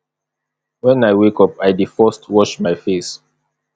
wen i wake up i dey first wash my face